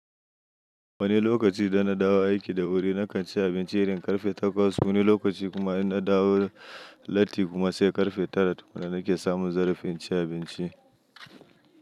Wani lokaci idan na dawo aiki da wuri na kan ci abinci irin ƙarfe takwas, wani lokaci kuma in na dawo latti kuma sai ƙarfe tara. Da nake samu in rufe inci abinci.